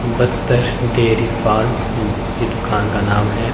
Bastar dairy farm इ दुकान का नाम है।